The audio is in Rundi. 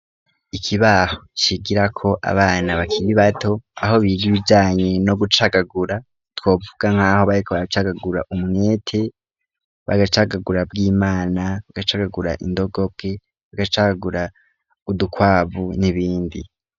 Ikibaho kigira ko abana bakima i bato aho biri ibijanye no gucagagura twovuga nk'aho bariko bagacagagura umwete bagacagagura bw' imana bagacagagura indogoke bagacakagura udukwabu n'ibindi.